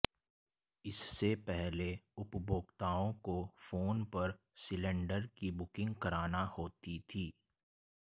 इससे पहले उपभोक्ताओं को फोन पर सिलेण्डर की बुकिंग कराना होती थी